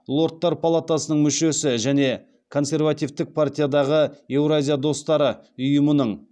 лордтар палатасының мүшесі және консервативтік партиядағы еуразия достары ұйымының